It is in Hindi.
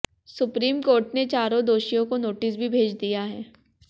सुप्रीम कोर्ट ने चारों दोषियों को नोटिस भी भेज दिया है